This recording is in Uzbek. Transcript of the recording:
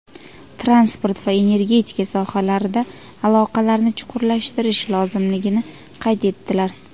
transport va energetika sohalarida aloqalarni chuqurlashtirish lozimligini qayd etdilar.